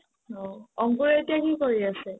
অ, অংকুৰে এতিয়া কি কৰি আছে ?